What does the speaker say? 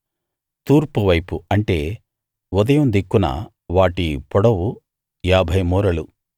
తూర్పువైపు అంటే ఉదయం దిక్కున వాటి పొడవు ఏభై మూరలు